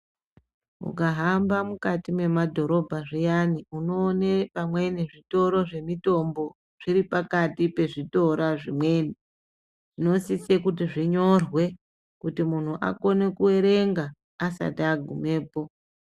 Ukahamba mukati memadhorobha zviyani unoone pamweni zvitoro zvemutombo zviripakati pezvitora zvimweni. Zvinosise kuti zvinyorwe kuti muntu akone kuerenga asati agumepo.